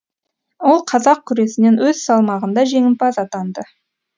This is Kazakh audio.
ол қазақ күресінен өз салмағында жеңімпаз атанды